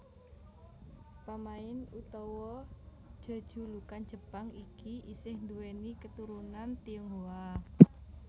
Pamain utawa jejulukan Jepang iki isih nduwèni katurunan Tionghoa